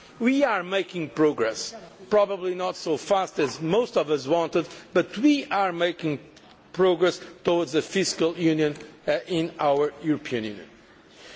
We are making progress, probably not as fast as most of us wanted, but we are making progress towards a fiscal union in our European Union.